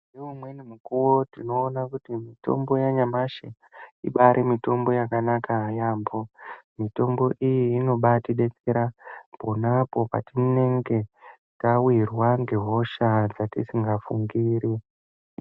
Ngeumweni mukuwo tinoona kuti mitombo yanyamashi ibari mitombo yakanaka yambo mitombo iyi inobatidetsera ponapo patinenge tisingafungiri.